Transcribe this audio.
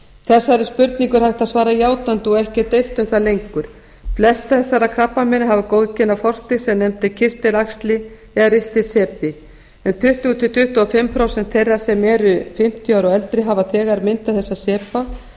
þessari spurningu er hægt að svara játandi og ekki er deilt um það lengur flest þessara krabbameina hafa góðkynja forstig sem nefnt er kirtilæxli eða ristilsepi um tuttugu til tuttugu og fimm prósent þeirra sem eru fimmtíu ára og eldri hafa þegar myndað þessa sepa